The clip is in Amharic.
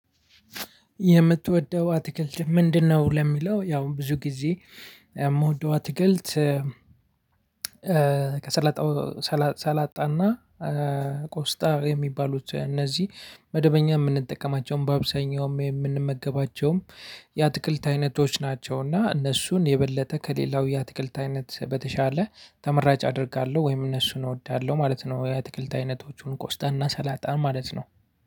የምትወደው አትክልት ምንድነው? ለሚለው ያው ብዙ ጊዜ ምወደው አትክልት ሰላጣና ቆስጣ የሚባሉት እነዚህ መደበኛ የምንጠቀማቸውም በአብዛኛውም የምንመገባቸውም የአትክልት አይነቶች ናቸውና እነሱን የበለጠ ከሌላው የአትክልት አይነት በተሻለ ተመራጭ አደርጋለሁ ወይም እነሱን እወዳለሁ ማለት ነው። የአትክልት አይነቶቹን ቆስጣ እና ሰላጣን ማለት ነው።